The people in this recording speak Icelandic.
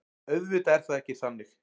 Auðvitað er það ekki þannig.